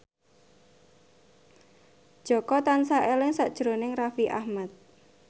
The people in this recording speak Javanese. Jaka tansah eling sakjroning Raffi Ahmad